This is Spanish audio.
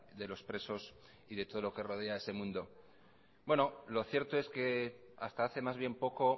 de los presos y de todo lo que rodea ese mundo bueno lo cierto es que hasta hace más bien poco